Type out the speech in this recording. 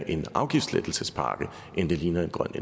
en afgiftslettelsespakke end det ligner en grøn